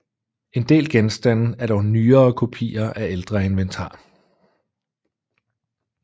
En del genstande er dog nyere kopier af ældre inventar